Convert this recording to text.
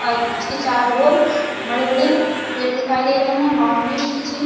और उचके चारों और बड़े-बड़े पेड़ दिखाई दे रहे है बौंडरी भी खींची--